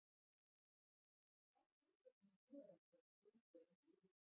Hvað er Guðbergur að skrifa um þegar skyggnst er undir yfirborðið?